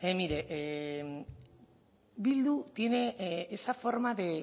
mire bildu tiene esa forma de